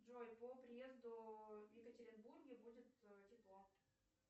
джой по приезду в екатеринбурге будет тепло